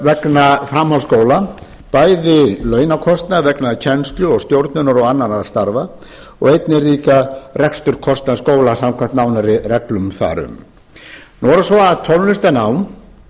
vegna framhaldsskóla bæði launakostnað vegna kennslu og stjórnunar og annarra starfa og einnig reksturskostnað skólans samkvæmt nánari reglum þar um nú er það svo